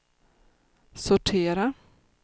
sortera